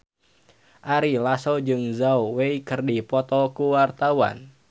Ari Lasso jeung Zhao Wei keur dipoto ku wartawan